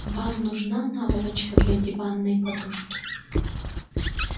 вам нужна наволочка для диванной подушки